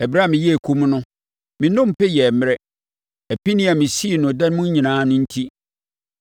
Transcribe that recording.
Ɛberɛ a meyɛɛ komm no, me nnompe yɛɛ mmrɛ apinie a mesii no da mu nyinaa enti.